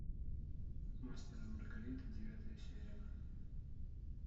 мастер и маргарита девятая серия